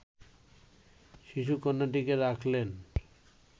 শিশুকন্যাটিকে রাখলেন